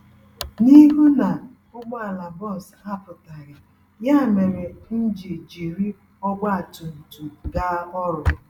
N'ihu na ụgbọala bus apụtaghị, ya méré m ji jiri ọgba tum tum gaa ọrụ.